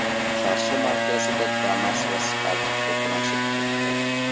Qarshi markazida Damas va Spark to‘qnashib ketdi.